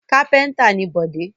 Kápẹ́ńtà ni Bọ̀dé.